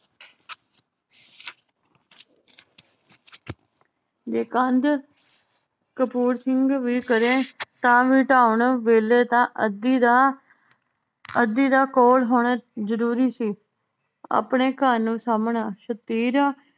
ਜੇ ਕੰਧ ਕਪੂਰ ਸਿੰਘ ਵੀ ਕਰੇ ਤਾਂ ਵੀ ਢਾਉਣ ਵੇਲੇ ਤਾਂ ਅੱਧੀ ਦਾ ਅੱਧੀ ਦਾ ਕੋਲ ਹੋਣਾ ਜਰੂਰੀ ਸੀ। ਆਪਣੇ ਘਰ ਨੂੰ ਸਾਮਨਾ